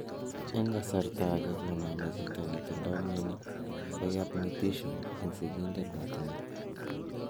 En kasarta age koname chito netindo mioni koyap mutation en sigindet netinye.